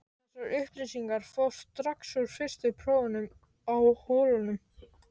Þessar upplýsingar fást strax úr fyrstu prófunum á holunum.